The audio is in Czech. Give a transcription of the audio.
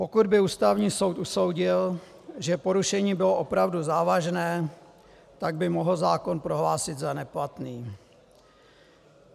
Pokud by Ústavní soud usoudil, že porušení bylo opravdu závažné, tak by mohl zákon prohlásit za neplatný.